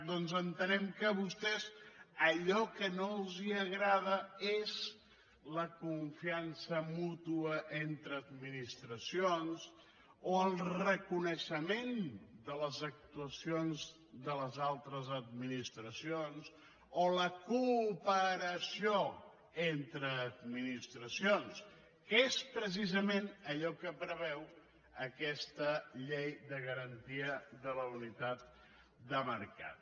doncs entenem que a vostès allò que no els agrada és la confiança mútua entre administracions o el reconeixement de les actuacions de les altres administracions o la cooperació entre administracions que és precisament allò que preveu aquesta llei de garantia de la unitat de mercat